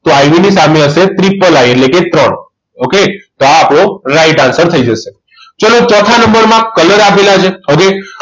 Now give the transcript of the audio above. તો IV સામે હશે III એટલે કે ત્રણ okay તો આ આપણો right answer થઈ જશે ચલો ચોથા નંબરમાં colour આપેલા છે okay